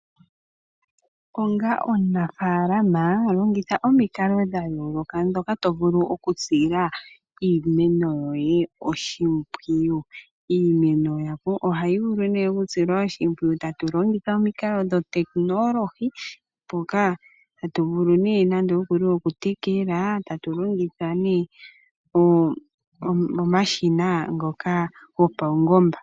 Onga omunafaalama longitha omikalo dha yooloka ndhoka to vulu okusila iimeno yoye oshimpwiyu. Iimeno ohayi vulu nee okusilwa oshimpwiyu tatu longitha omikalo dhotekonolohi, mpoka tatu vulu nee nande okuli okutekela tatu longitha nee omashina ngoka gopaungomba.